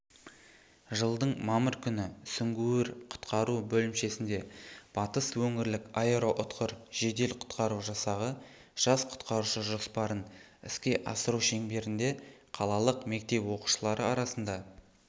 жылдың мамыр күні сүңгуір-құтқару бөлімшесінде батыс өңірлік аэроұтқыр жедел-құтқару жасағы жас құтқарушы жоспарын іске асыру шеңберінде қалалық мектеп оқушылары арасында